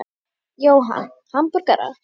Jóhann: Hamborgara?